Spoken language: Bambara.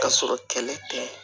Ka sɔrɔ kɛlɛ tɛ ye